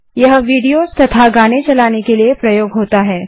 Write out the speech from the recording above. यह विडियो तथा गाने चलाने के लिए प्रयोग होता है